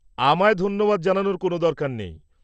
আমায় ধন্যবাদ জানানোর কোনও দরকার নেই।